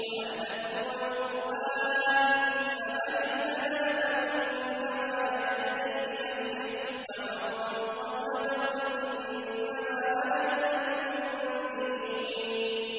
وَأَنْ أَتْلُوَ الْقُرْآنَ ۖ فَمَنِ اهْتَدَىٰ فَإِنَّمَا يَهْتَدِي لِنَفْسِهِ ۖ وَمَن ضَلَّ فَقُلْ إِنَّمَا أَنَا مِنَ الْمُنذِرِينَ